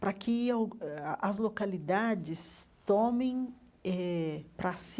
Para que al eh as localidades tomem eh para si